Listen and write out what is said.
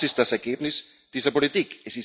Und das ist das Ergebnis dieser Politik.